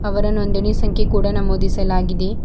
ಇವರ ನೋಂದಣಿ ಸಂಖ್ಯೆ ಕೂಡ ನಮೂದಿಸಲಾಗಿದೆ.